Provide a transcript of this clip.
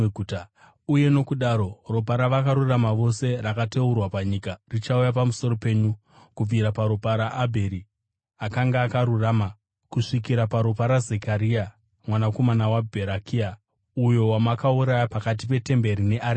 Uye nokudaro, ropa ravakarurama vose rakateurwa panyika richauya pamusoro penyu kubvira paropa raAbheri akanga akarurama kusvikira paropa raZekaria mwanakomana waBherekia uyo wamakauraya pakati petemberi nearitari.